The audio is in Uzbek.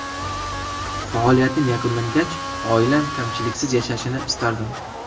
Faoliyatim yakunlangach oilam kamchiliksiz yashashini istardim.